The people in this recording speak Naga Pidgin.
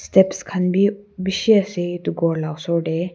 steps khan b bishi ase etu ghor la osor de.